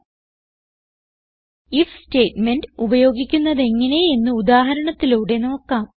if statement ഉപയോഗിക്കുന്നതെങ്ങനെ എന്ന് ഉദാഹരണത്തിലൂടെ നോക്കാം